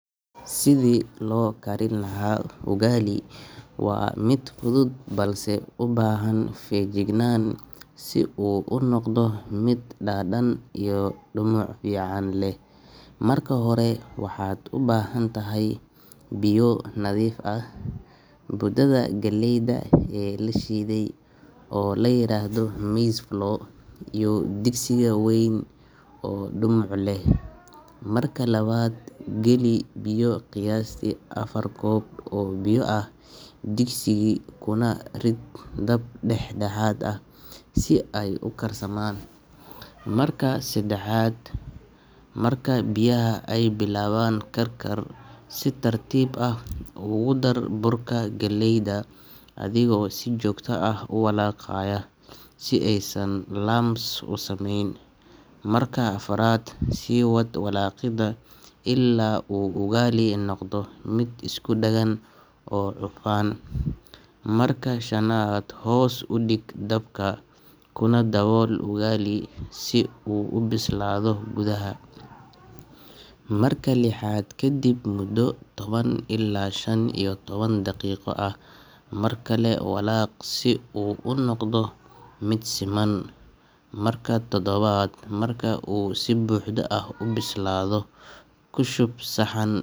Sidii loo karin lahaa ugali waa mid fudud balse u baahan feejignaan si uu u noqdo mid dhadhan iyo dhumuc fiican leh. Marka hore, waxaad u baahan tahay biyo nadiif ah, budada galleyda ee la shiiday oo la yiraahdo maize flour, iyo digsiga weyn oo dhumuc leh. Marka labaad, geli biyo qiyaastii afar koob oo biyo ah digsiga, kuna rid dab dhexdhexaad ah si ay u karsamaan. Marka saddexaad, marka biyaha ay bilaabaan karkar, si tartiib ah ugu dar burka galleyda adigoo si joogto ah u walaaqaya si aysan lumps u samayn. Marka afraad, sii wad walaaqidda ilaa uu ugali noqdo mid isku dhagan oo cufan. Marka shanaad, hoos u dhig dabka, kuna dabool ugali si uu u bislaado gudaha. Marka lixaad, kaddib muddo toban ilaa shan iyo toban daqiiqo ah, mar kale walaaq si uu u noqdo mid siman. Marka toddobaad, marka uu si buuxda u bislaado, ku shub saxan.